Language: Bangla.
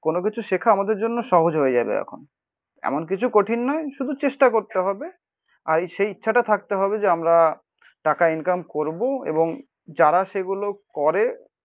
কোনো কিছু শেখা আমাদের জন্য সহজ হয়ে যাবে এখন। এমন কিছু কঠিন নয় শুধু চেষ্টা করতে হবে, আর সেই ইচ্ছাটা থাকতে হবে যে আমরা টাকা ইনকাম করবো এবং যারা সেগুলো করে